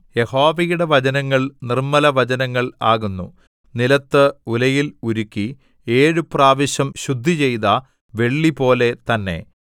യഹോവയുടെ വചനങ്ങൾ നിർമ്മല വചനങ്ങൾ ആകുന്നു നിലത്ത് ഉലയിൽ ഉരുക്കി ഏഴു പ്രാവശ്യം ശുദ്ധിചെയ്ത വെള്ളിപോലെ തന്നെ